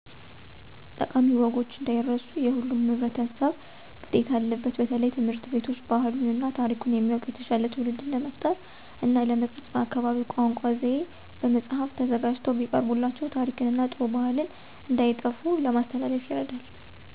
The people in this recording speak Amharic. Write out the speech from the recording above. ጠቃሚ ወጎች እንዳይረሱ የሁሉም ህብረተሰብ ግዴታ አለበት በተለየ ትምህርት ቤቶች ባህሉን እና ታሪኩን የሚያዉቅ የተሻለ ትዉልድን ለመፍጠር እና ለመቅረፅ በአካባቢው ቋንቋ (ዘዬ) በመፃህፍ ተዘጋጅተው ቢቀርቡላቸው ታሪክን እና ጥሩ ባህልን እንዳይጠፉ ለማስተላለፍ ይረዳል።